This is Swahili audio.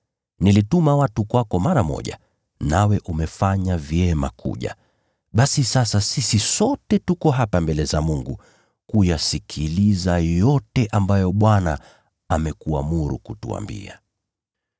Nilituma watu kwako mara moja, nawe umefanya vyema kuja. Basi sasa sisi sote tuko hapa mbele za Mungu kuyasikiliza yote ambayo Bwana amekuamuru kutuambia.”